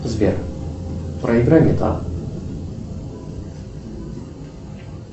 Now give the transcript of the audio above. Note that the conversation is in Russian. сбер проиграй металл